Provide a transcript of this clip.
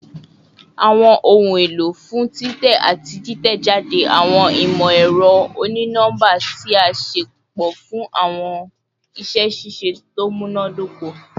Awọn ohun elo fun titẹ ati titẹjade awọn imọ-ẹrọ oni-nọmba ti a ṣepọ fun awọn iṣẹ ṣiṣe to munadoko